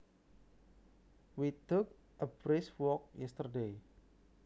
We took a brisk walk yesterday